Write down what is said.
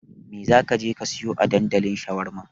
Mai za ka je ka sayo a dandalin shawarma?